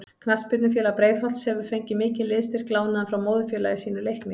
Knattspyrnufélag Breiðholts hefur fengið mikinn liðsstyrk lánaðan frá móðurfélagi sínu Leikni.